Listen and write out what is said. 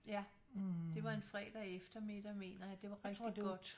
Ja det var en fredag eftermiddag mener jeg det var rigtig godt